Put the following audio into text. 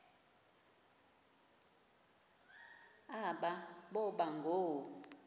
aba boba ngoo